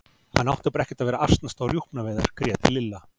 Hann átti bara ekkert að vera að asnast á rjúpnaveiðar grét Lilla.